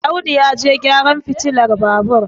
Audu ya je gyaran fitilar Babur